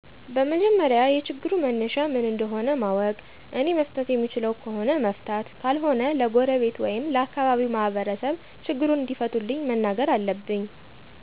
በመጀመሪያ የችግሩ መነሻ ምን እንደሆ ማወቅ እኔ መፍታት የምችለው ከሆነ መፍታት ካልሆነ ለጎረቤት ወይም ለአካባቢው ማህበርሰብ ችግሩን እንዲፈቱልኝ መናገር አለብኝ።